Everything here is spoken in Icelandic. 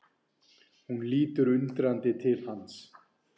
Hún lítur undrandi til hans.